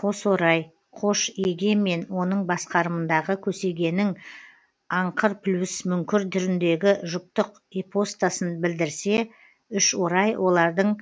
қосорай қош еге мен оның басқарымындағы көсегенің аңқырплюсмүңкір түріндегі жұптық ипостасын білдірсе үшорай олардың